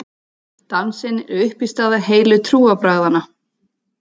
Dansinn er uppistaða heilu trúarbragðanna.